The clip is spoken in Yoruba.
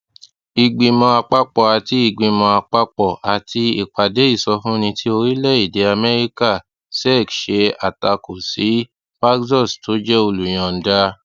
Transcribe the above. ìgbìmọ àpapọ àti ìgbìmọ àpapọ àti ìpàdé ìsọfúnni ti orílẹèdè amẹríkà sec ṣe àtakò sí paxos tó jẹ olùyọǹda